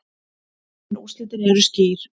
En úrslitin eru skýr.